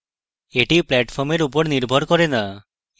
এটি প্ল্যাটফর্ম এর নির্ভর করে না